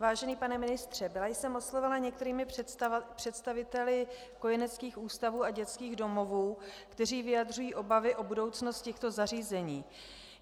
Vážený pane ministře, byla jsem oslovena některými představiteli kojeneckých ústavů a dětských domovů, kteří vyjadřují obavy o budoucnost těchto zařízení.